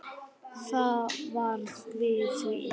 Það varð við því.